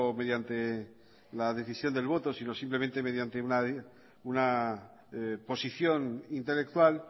mediante la decisión del voto sino simplemente mediante una posición intelectual